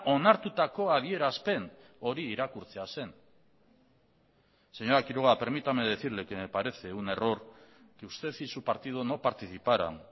onartutako adierazpen hori irakurtzea zen señora quiroga permítame decirle que me parece un error que usted y su partido no participaran